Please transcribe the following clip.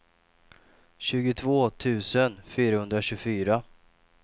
tjugotvå tusen fyrahundratjugofyra